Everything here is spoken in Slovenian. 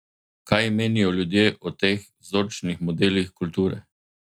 Kaj menijo ljudje o teh vzorčnih modelih kulture?